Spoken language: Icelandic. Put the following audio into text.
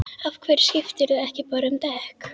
Af hverju skiptirðu ekki bara um dekk?